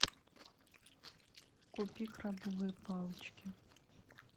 купи крабовые палочки